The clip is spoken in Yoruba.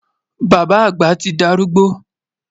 Bàbá àgbà ti dárúgbó